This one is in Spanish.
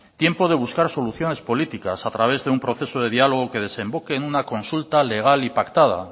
tiempo de buscar soluciones políticas a través de un proceso de diálogo que desemboque en una consulta legal y pactada